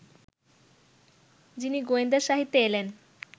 যিনি গোয়েন্দাসাহিত্যে এলেন